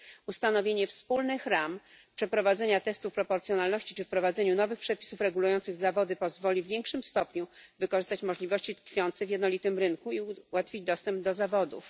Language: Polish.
Ustanowienie wspólnych ram, przeprowadzanie testu proporcjonalności czy wprowadzenie nowych przepisów regulujących zawody pozwoli w większym stopniu wykorzystać możliwości tkwiące w jednolitym rynku i ułatwi dostęp do zawodów.